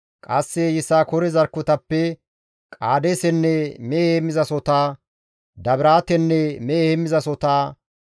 Qasse Yisakoore zarkketappe Qaadeesenne mehe heemmizasohota, Dabiraatenne mehe heemmizasohota,